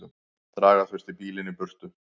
Draga þurfti bílinn í burtu.